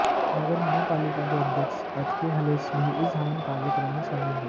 नगर महापालिका के अध्यक्ष एचके हलेश भी इस हवन कार्यक्रम में शामिल हुए